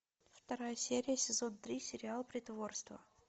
вторая серия сезон три сериал притворство